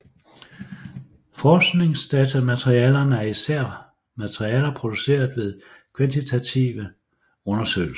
Forskningsdatamaterialerne er især materialer produceret ved kvantitative undersøgelser